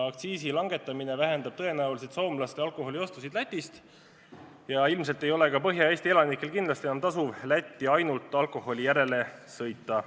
Aktsiisi langetamine vähendab tõenäoliselt soomlaste alkoholiostusid Lätis ja ilmselt ei ole ka Põhja-Eesti elanikel enam tasuv Lätti ainult alkoholi järele sõita.